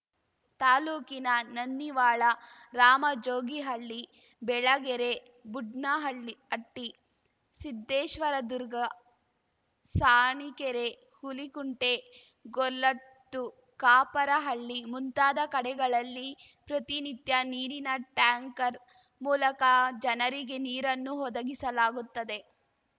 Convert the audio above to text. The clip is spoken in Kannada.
ತಾಲೂಕಿನ ನನ್ನಿವಾಳ ರಾಮಜೋಗಿಹಳ್ಳಿ ಬೆಳಗೆರೆ ಬುಡ್ನಹಳ್ಳಿ ಹಟ್ಟಿ ಸಿದ್ದೇಶ್ವರದುರ್ಗ ಸಾಣಿಕೆರೆ ಹುಲಿಕುಂಟೆ ಗೊರ್ಲತ್ತು ಕಾಪರಹಳ್ಳಿ ಮುಂತಾದ ಕಡೆಗಳಲ್ಲಿ ಪ್ರತಿನಿತ್ಯ ನೀರಿನ ಟ್ಯಾಂಕರ್‌ ಮೂಲಕ ಜನರಿಗೆ ನೀರನ್ನು ಒದಗಿಸಲಾಗುತ್ತದೆ